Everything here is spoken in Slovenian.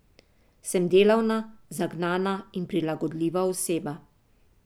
Sem delavna, zagnana in prilagodljiva oseba.